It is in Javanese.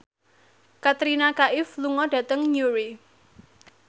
Katrina Kaif lunga dhateng Newry